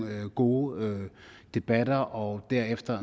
gode debatter og derefter